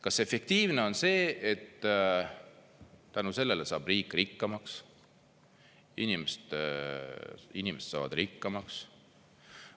Kas efektiivne on see, et tänu sellele saab riik rikkamaks, inimesed saavad rikkamaks?